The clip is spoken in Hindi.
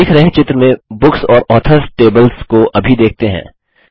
दिख रहे चित्र में बुक्स और ऑथर्स टेबल्स को अभी देखते हैं